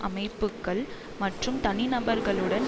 அமைப்புக்கள் மற்றும் தனிநபர்களுடன்